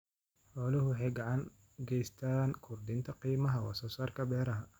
Xooluhu waxay gacan ka geystaan ??kordhinta qiimaha wax soo saarka beeraha.